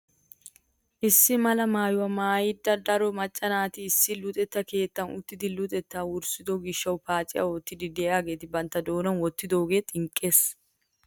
Issi mala maayuwaa maayida daro macca naati issi luxetta keettan uttidi luxetta wurssido gishshawu paaciyaa oottiidi de'iyaageti bantta doonan wottidoogee xinqqees!